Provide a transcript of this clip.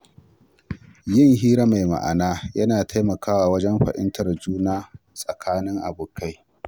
Yin hira mai ma’ana yana taimakawa wajen fahimtar juna tsakanin abokai.